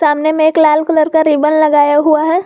सामने में एक लाल कलर का रिबन लगाया हुआ है।